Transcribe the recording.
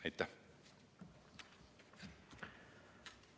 Aitäh!